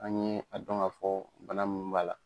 An ɲe a dɔn ka fɔ bana min b'a la.